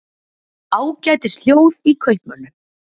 Ágætis hljóð í kaupmönnum